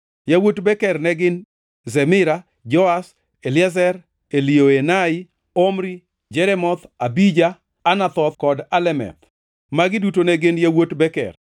Yawuot Beker ne gin: Zemira, Joash, Eliezer, Elioenai, Omri, Jeremoth, Abija, Anathoth kod Alemeth. Magi duto ne gin yawuot Beker.